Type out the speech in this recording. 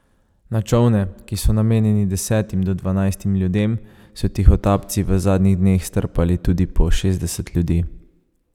Na čolne, ki so namenjeni desetim do dvanajstim ljudem, so tihotapci v zadnjih dneh strpali tudi po šestdeset ljudi.